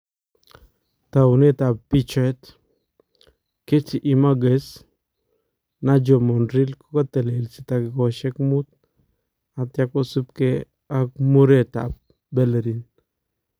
Tauneetab picheet , Getty Imagaes Nacho Monreal kokatelelsi takikoosyek muut atya kosubkee ak mureetab Bellerin